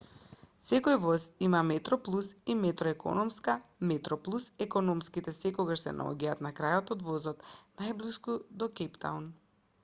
секој воз има и метроплус и метро економска метроплус економските секогаш се наоѓаат на крајот од возот најблиску до кејптаун